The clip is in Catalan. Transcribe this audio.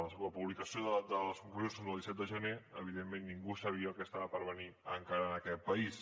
la publicació de les conclusions és del disset de gener evidentment ningú no sabia el que estava per venir encara en aquest país